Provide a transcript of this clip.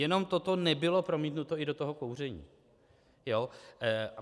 Jenom toto nebylo promítnuto i do toho kouření.